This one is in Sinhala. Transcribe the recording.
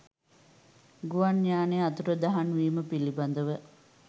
ගුවන් යානය අතුරුදහන්වීම පිළිබඳව